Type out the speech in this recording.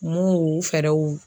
Mun u fɛɛrɛw